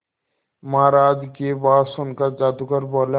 महाराज की बात सुनकर जादूगर बोला